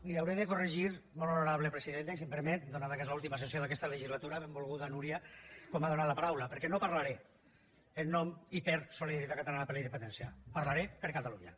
li hauré de corregir molt honorable presidenta i si em permet atès que és l’última sessió d’aquesta legislatura benvolguda núria com m’ha donat la paraula perquè no parlaré en nom i per solidaritat catalana per la independència parlaré per catalunya